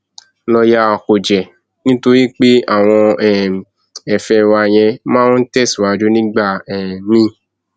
lọọyà kúnjẹ nítorí pé àwọn um ẹfẹ wa yẹn máa ń tẹsíwájú nígbà um míín